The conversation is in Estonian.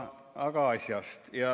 Aga asjast.